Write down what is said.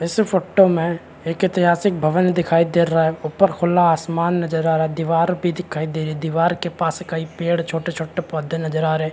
इस फोटो में एक ऐतिहासीक भवन दिखाई दे रहा है ऊपर खुला आसमान नज़र आ रहा है दीवार भी दिखाई दे रही है दीवार के पास कई पेड़ छोटे-छोटे पौधे नज़र आ रहे है।